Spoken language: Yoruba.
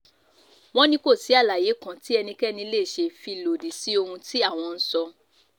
wọ́n ní kò sí àlàyé kan tí ẹnikẹ́ni lè ṣe fi lòdì sí ohun tí àwọn ń sọ